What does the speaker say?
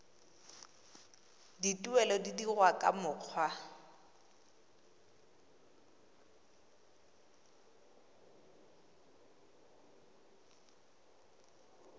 dituelo di dirwa ka mokgwa